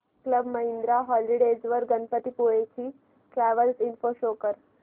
club Mahindra holidays वर गणपतीपुळे ची travel info show कर